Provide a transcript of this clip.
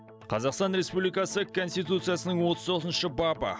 қазақстан республикасы конституциясының отыз тоғызыншы бабы